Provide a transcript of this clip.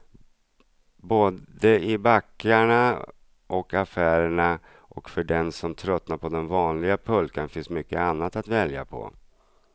Både i backarna och affärerna, och för den som tröttnat på den vanliga pulkan finns mycket annat att välja på.